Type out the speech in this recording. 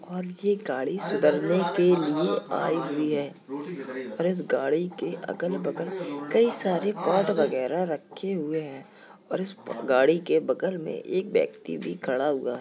और ये गाड़ी सुधरने ने के लिए आई हुई है और इस गाड़ी के अगल-बगल कई सारे पार्ट वगैरह रखे हुए हैं और इस गाड़ी के बगल में एक व्यक्ति भी खड़ा हुआ --